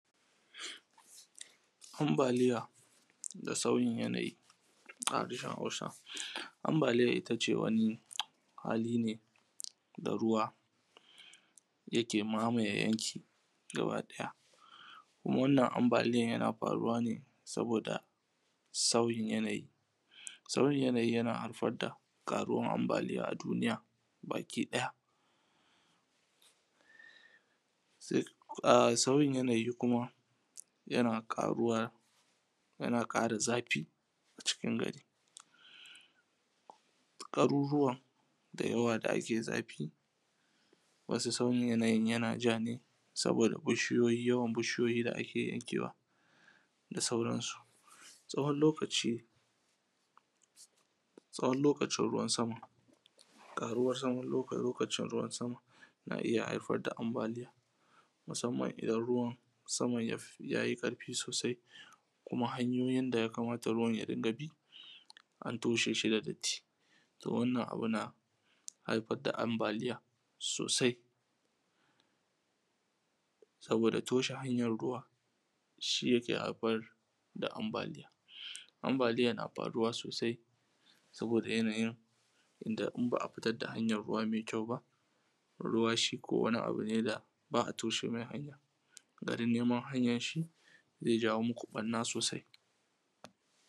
ambaliya da sauyin yanayi a harshen hausa ambaliya ittace wani yanayi ne da ruwa yake mamaye yanki gaba daya kuma waʤnnan ambaliyan yana faruwa ne saboda sauyi yanayi sauyin yana haifar da karuwan ambaliya a duniya baki daya sauyin yanayi kuma yana karuwa yana kara zafi a cikin gari garuruwan dayawa da ake zafi zafi wani sauyin yanayi yana ja ne saboda yawan bushiyoyi da ake yanke wa da sauran su tsawon lokacin ruwan sama karuwan zaman lokacin ruwan sama na iyya haifar da ambaliya musamman idan ruwan saman yayi karfi sosai kuma hanyoyin da yakamata ruwan ya rika bi antosheshi da datti so wannan abu na haifar da ambaliya sosai saboda toshe hanyan ruwa shi yake haifar da ambaliya ambaliya na faruwa sosai saboda yanayin da ba’a fitar da hanyar ruwa ba ruwa shiko wani abune da ba’a toshe mai hanya garin neman hanyanshi zai ja muku barna sosai